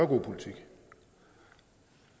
god politik